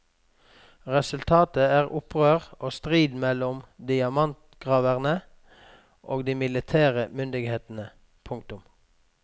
Resultatet er opprør og strid mellom diamantgraverne og de militære myndighetene. punktum